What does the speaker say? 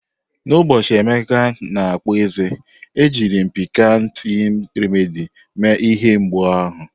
N'ụbọchị Emeka na-akpụ eze, ejiri m Piccan Teething Remedy mee ihe mgbu ahụ.